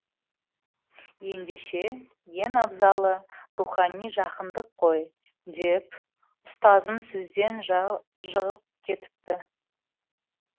ендеше ең абзалы рухани жақындық қой деп ұстазын сөзден жығып кетіпті